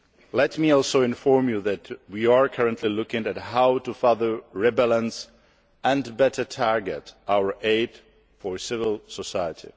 Let me also inform you that we are currently looking at how to further rebalance and better target our aid for civil society.